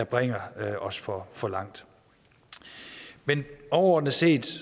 bringer os for for langt men overordnet set